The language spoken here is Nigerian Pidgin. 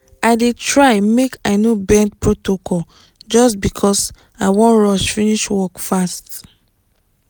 i dey try make i no bend protocol just because i wan rush finish work fast.